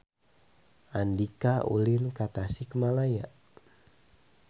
Andika ulin ka Tasikmalaya